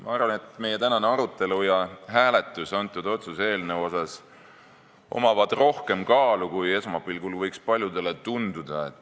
Ma arvan, et meie tänasel arutelul ja otsuse eelnõu hääletusel on rohkem kaalu, kui esmapilgul võiks paljudele tunduda.